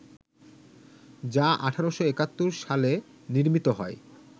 যা ১৮৭১ সালে নির্মিত হয়